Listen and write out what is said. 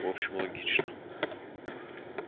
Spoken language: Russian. в общем логично